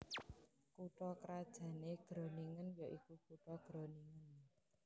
Kutha krajanné Groningen ya iku kutha Groningen